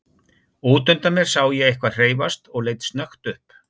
Út undan mér sá ég eitthvað hreyfast og leit snöggt upp.